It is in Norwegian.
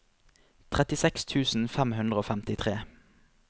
trettiseks tusen fem hundre og femtitre